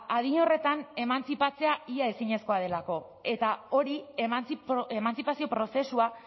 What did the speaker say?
adin horretan emantzipatzea ia ezinezkoa delako eta hori emantzipazio prozesua